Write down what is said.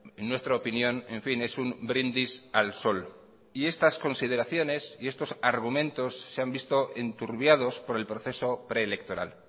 en nuestra opinión en fin es un brindis al sol y estas consideraciones y estos argumentos se han visto enturbiados por el proceso preelectoral